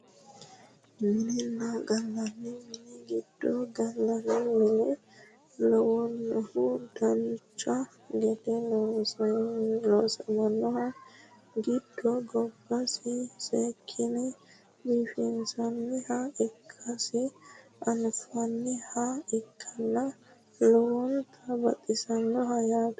minenna gallanni mini giddo gallanni mine lawannohu dancha gede loosaminoho giddo gobbasi seekkine biifinsoonniha ikkasi anafanniha ikkanna lowonta baxisannoho yaate